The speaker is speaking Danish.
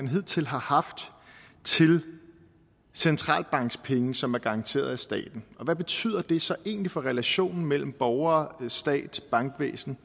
hidtil har haft til centralbankspenge som er garanteret af staten og hvad betyder det så egentlig for relationen mellem borgere stat bankvæsen